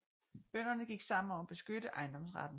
Bønderne gik sammen om at beskytte ejendomsretten